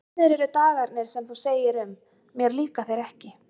Komnir eru dagarnir sem þú segir um: mér líka þeir ekki.